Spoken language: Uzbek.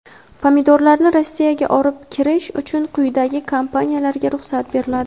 Pomidorlarni Rossiyaga olib kirish uchun quyidagi kompaniyalarga ruxsat beriladi:.